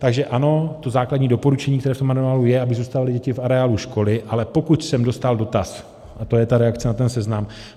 Takže ano, to základní doporučení, které v tom manuálu je, aby zůstaly děti v areálu školy, ale pokud jsem dostal dotaz - a to je ta reakce na ten Seznam.